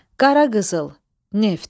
Qaraqızıl, neft.